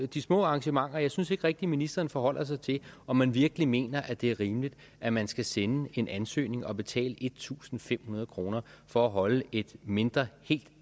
de små arrangementer synes jeg rigtig at ministeren forholder sig til om man virkelig mener at det er rimeligt at man skal sende en ansøgning og betale en tusind fem hundrede kroner for at holde et mindre helt